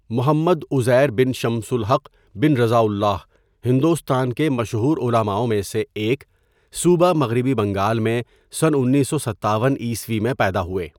محمد عزیر بن شمس الحق بن رضاء اللہ، ،ہندوستان کے مشہور علماؤوں میں سے ایک، صوبہ مغربی بنگال میں سن ۱۹۵۷ء میں پیدا ہوئے.